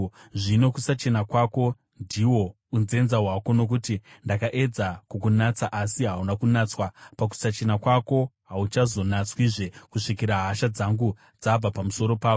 “ ‘Zvino kusachena kwako ndihwo unzenza hwako. Nokuti ndakaedza kukunatsa asi hauna kunatswa pakusachena kwako, hauchazonatswizve kusvikira hasha dzangu dzabva pamusoro pako.